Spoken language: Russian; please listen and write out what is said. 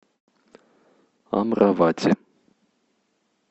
амравати